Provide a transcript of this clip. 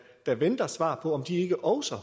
der venter på svar på om de ikke også